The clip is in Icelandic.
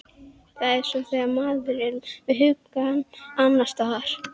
Það er svona þegar maður er með hugann annars staðar.